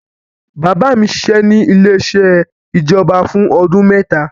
Bàbá mi ṣiṣẹ́ ní ilé-iṣẹ́ ìjọba fún ọdún mẹ́ta.